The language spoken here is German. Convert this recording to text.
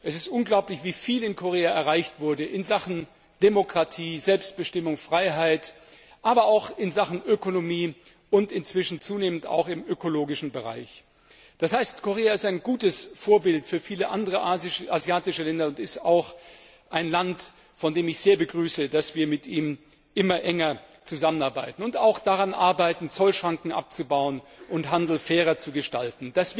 Es ist unglaublich, wie viel in Korea in Sachen Demokratie, Selbstbestimmung, Freiheit, aber auch in Sachen Ökonomie und inzwischen zunehmend auch im ökologischen Bereich erreicht wurde. Das heißt, Korea ist ein gutes Vorbild für viele andere asiatische Länder und auch ein Land, bei dem ich sehr begrüße, dass wir mit ihm immer enger zusammenarbeiten und daran arbeiten, Zollschranken abzubauen und den Handel fairer zu gestalten.